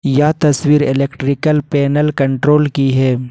यह तस्वीर electrical panel control की है।